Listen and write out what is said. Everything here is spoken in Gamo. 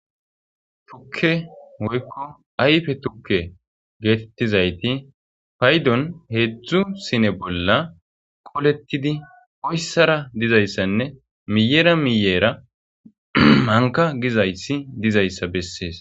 Tukke hoykko ayfe tukke geetettizayti paydon heedzdzu sine bolla qolettidi oyssara dizayssanne miyera miyeera manka gizaysi dizayssa bessees.